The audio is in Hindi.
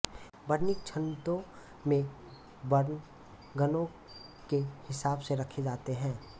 वर्णिक छन्दों में वर्ण गणों के हिसाब से रखे जाते हैं